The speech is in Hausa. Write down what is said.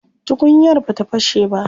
Tukunyar bata fashe ba.